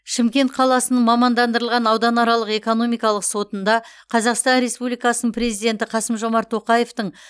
шымкент қаласының мамандандырылған ауданаралық экономикалық сотында қазақстан республикасының президенті қасым жомарт тоқаевтың